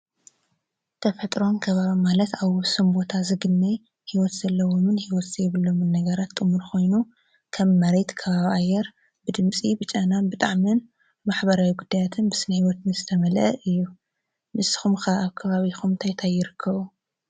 ተፈጥሮን ከባባ ማለት ኣብ ወብሰም ቦታ ዝግነይ ሕይወት ዘለዎምን ሕይወት ዘየብሎምን ነገራት ጥምር ኾይኑ ከም መሬት ከባባኣየር ብድምፂ ብጨናን ብጣዕምን ማኅበራዊ ጕዳያትን ብስነይዮት ምስተመልአ እዩ ምስኹምካ ኣብ ባቢኹምቲ ይተይርክዉ